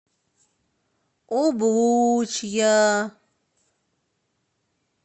облучья